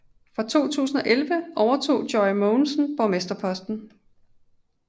Fra 2011 overtog Joy Mogensen borgmesterposten